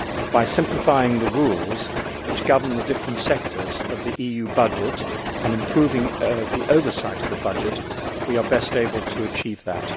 By simplifying the rules which govern the different sectors of the EU budget and improving the oversight of the budget we are best able to achieve that.